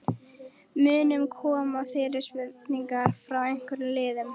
Munu koma fyrirspurnir frá einhverjum liðum?